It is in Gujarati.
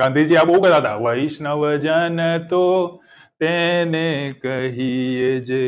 ગાંધી જી આ બઉ ગાતા હતા વૈષ્ણવજન તો તેને કહીએ જે